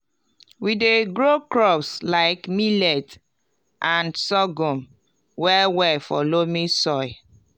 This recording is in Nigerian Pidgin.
we dey grow crops like millet and sorghum well well for loamy soil